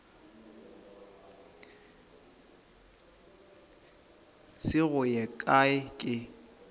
se go ye kae ke